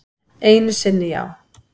Einu sinni já.